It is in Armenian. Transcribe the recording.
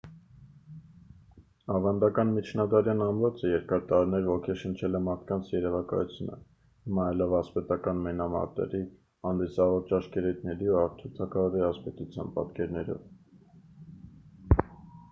ավանդական միջնադարյան ամրոցը երկար տարիներ ոգեշնչել է մարդկանց երևակայությունը հմայելով ասպետական մենամարտերի հանդիսավոր ճաշկերույթների և արթուր թագավորի ասպետության պատկերներով